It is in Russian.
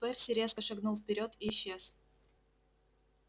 перси резко шагнул вперёд и исчез